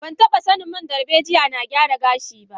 Bataba sanin man dalbejiya na gyara gashi ba.